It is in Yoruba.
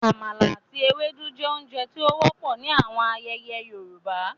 Àmala ati éwédu je ounje ti o wọpọ ni awọn ayẹyẹ Yorùbá